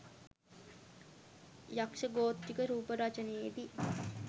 යක්ෂ ගෝත්‍රික රූප රචනයේදී